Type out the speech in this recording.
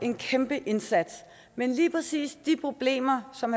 en kæmpe indsats men lige præcis de problemer som